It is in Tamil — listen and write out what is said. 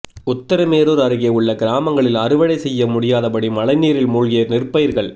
உத்திரமேரூர் அருகே உள்ள கிராமங்களில் அறுவடை செய்ய முடியாதபடி மழைநீரில் மூழ்கிய நெற்பயிர்கள்